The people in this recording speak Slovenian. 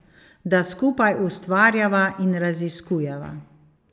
Da skupaj ustvarjava in raziskujeva.